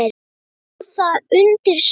Stóð það undir sér?